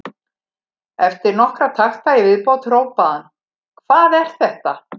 Eftir nokkra takta í viðbót hrópaði hann: Hvað er þetta?